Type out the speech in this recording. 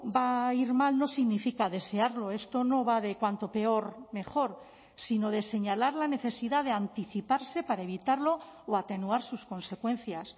va a ir mal no significa desearlo esto no va de cuanto peor mejor sino de señalar la necesidad de anticiparse para evitarlo o atenuar sus consecuencias